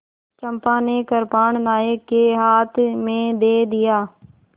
चंपा ने कृपाण नायक के हाथ में दे दिया